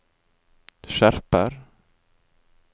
skjerper